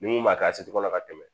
Ni mun m'a kɛ a si kɔnɔ ka tɛmɛ